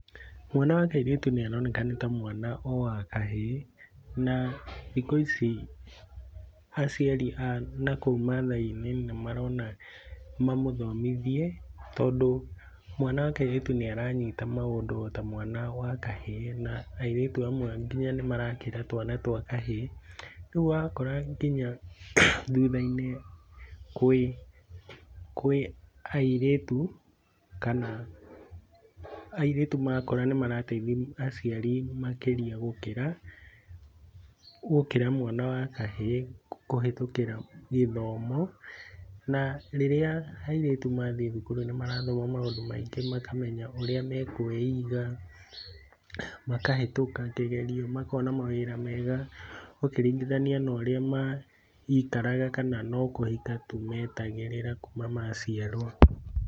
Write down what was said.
Mwana wa kairĩtu nĩaroneka nĩta mwana o wa kahĩĩ, na thikũ ici aciari a nakũu Maathai-inĩ nĩmarona mamũthomithie tondũ mwana wa kairĩtu nĩaranyita maũndũ ota mwana wa kahĩĩ na airĩtu amwe nginya nĩmarakĩra twana twa kahĩĩ. Rĩu wakora nginya thutha-inĩ kwĩ kwĩ airĩtu kana airĩtu makũra nĩmarateithia aciari makĩria gũkĩra, gũkĩra mwana wa kahaĩĩ kũhĩtũkĩra gĩthomo. Na, rĩrĩa airĩtu mathiĩ thukuru nĩmarathoma mandũ maingĩ makamenya ũrĩa mekwĩiga, makahĩtũka kĩgerio, makona mawĩra mega ũkĩringithania na ũrĩa maikaraga kana no kũhika tu metagĩrĩra kuma maciarwo.